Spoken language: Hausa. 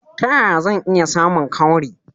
Ta yaya zan iya samun cowry?